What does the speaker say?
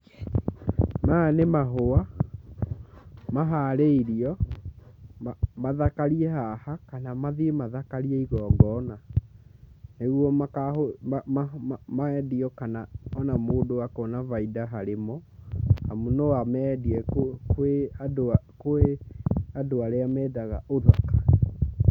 Maya nĩ mahũa maharĩirio mathakarie haha kana mathiĩ mathakarie igongona ,nĩguo mendio kana o na mũndũ akona bainda harĩ mo amu no amendie kwĩ andũ arĩa mendaga ũthaka.